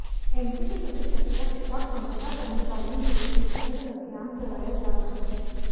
MG के सभी प्रत्यक्ष और संविदा कर्मचारियों के लिए टीकाकरण अभियान चलाया जा रहा है